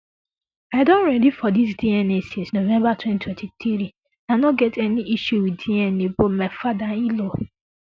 i don ready for dis dna since november twenty twenty three i no get any issue wit dna but my fatherinlaw